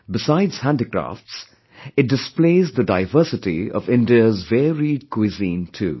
Besides handicrafts, it displays the diversity of India's varied cuisine too